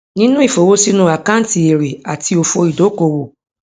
ninu ifowosinu akanti ere ati ofo idokoowo